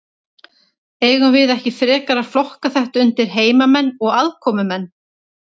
Eigum við ekki frekar að flokka þetta undir heimamenn og aðkomumenn?